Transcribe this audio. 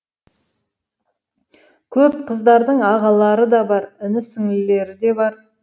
көп қыздардың ағалары да бар іні сіңлілері де бар